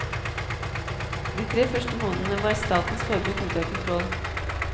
De tre første månedene var statens forbruk ute av kontroll.